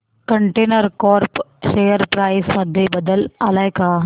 container Corp share price मध्ये बदल आलाय का